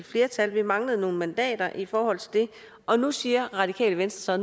flertal men manglede nogle mandater i forhold til det og nu siger radikale venstre